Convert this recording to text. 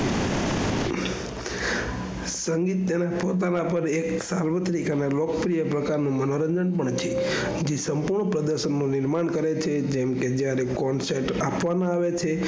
સંગીત એ તેના પોતાના પર એક સાવૃતિક અને લોકપ્રિય પ્રકાર નો મનોરંજન પણ છે. તે સંપૂર્ણ પ્રદર્શન નું નિર્માણ કરે છે જેમ કે જયારે concept આપવાના આવે છે.